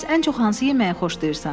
Bəs ən çox hansı yeməyi xoşlayırsan?